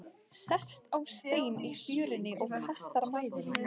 Sest á stein í fjörunni og kastar mæðinni.